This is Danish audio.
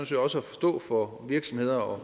set også at forstå for virksomheder og